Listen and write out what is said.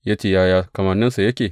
Ya ce, Yaya kamanninsa yake?